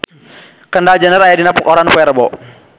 Kendall Jenner aya dina koran poe Rebo